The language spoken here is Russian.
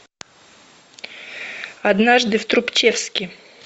однажды в трубчевске